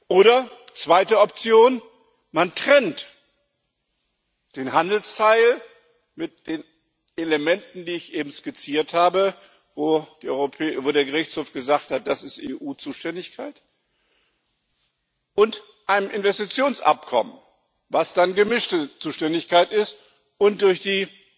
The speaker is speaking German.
Oder die zweite Option Man trennt den Handelsteil mit den Elementen, die ich eben skizziert habe wo der Gerichtshof gesagt hat, das ist EU Zuständigkeit von einem Investitionsabkommen, was dann gemischte Zuständigkeit ist und durch die